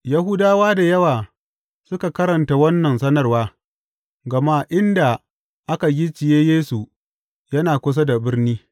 Yahudawa da yawa suka karanta wannan sanarwa, gama inda aka gicciye Yesu yana kusa da birni.